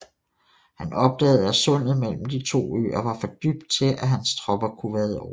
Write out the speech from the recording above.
Han opdagede at sundet mellem de to øer var for dybt til at hans tropper kunne vade over